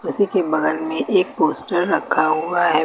इसी के बगल में एक पोस्टर रखा हुआ हैं।